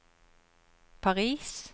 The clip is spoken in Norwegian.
Paris